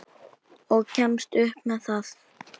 Og kemst upp með það!